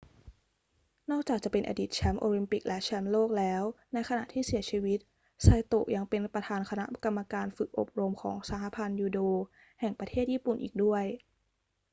นอกจากจะเป็นอดีตแชมป์โอลิมปิกและแชมป์โลกแล้ว ในขณะที่เสียชีวิตไซโตะยังเป็นประธานคณะกรรมการฝึกอบรมของสหพันธ์ยูโดแห่งประเทศญี่ปุ่นอีกด้วย